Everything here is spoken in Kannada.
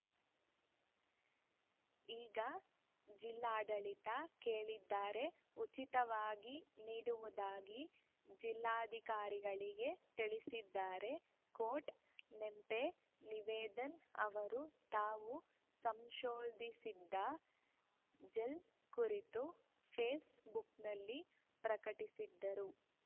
ಈಗ ಜಿಲ್ಲಾಡಳಿತ ಕೇಳಿದರೆ ಉಚಿತವಾಗಿ ನೀಡುವುದಾಗಿ ಜಿಲ್ಲಾಧಿಕಾರಿಗಳಿಗೆ ತಿಳಿಸಿದ್ದಾರೆ ಕೋಟ್‌ ನೆಂಪೆ ನಿವೇದನ್‌ ಅವರು ತಾವು ಸಂಶೋಧಿಸಿದ ಜೆಲ್‌ ಕುರಿತು ಫೇಸ್‌ ಬುಕ್‌ನಲ್ಲಿ ಪ್ರಕಟಿಸಿದ್ದರು